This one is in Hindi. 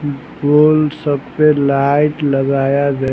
बोल सब पर लाइट लगाया गया--